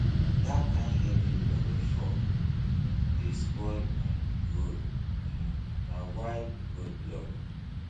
dat kain heavy rain wey fall um dey spoil um road um na why road block